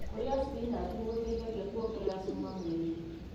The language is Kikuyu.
Kũrĩa spinachi nĩgũteithagia kũongerera cuma mwĩrĩinĩ.